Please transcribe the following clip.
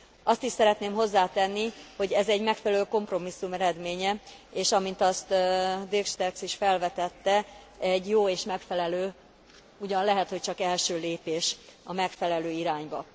Azt is szeretném hozzátenni, hogy ez egy megfelelő kompromisszum eredménye, és amint azt Dirk Sterckx is felvetette egy jó és megfelelő, ugyan lehet, hogy csak első lépés a megfelelő irányba.